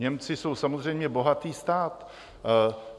Němci jsou samozřejmě bohatý stát.